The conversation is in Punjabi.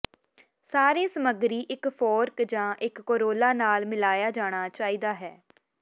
ਸਾਰੇ ਸਮੱਗਰੀ ਇਕ ਫੋਰਕ ਜ ਇੱਕ ਕੋਰੋਲਾ ਨਾਲ ਮਿਲਾਇਆ ਜਾਣਾ ਚਾਹੀਦਾ ਹੈ